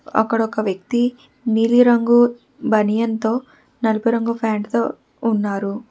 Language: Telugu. అక్కడ ఒక వ్యక్తి నీలి రంగు బనియన్తో నలుపు రంగు ఫ్యాంట్ తో ఉన్నారు.